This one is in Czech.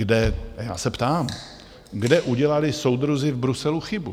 A já se ptám - kde udělali soudruzi v Bruselu chybu?